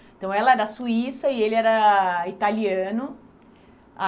Então ela era suíça e ele era italiano.